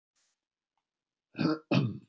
KRISTJÁN: Æ, piltar mínir!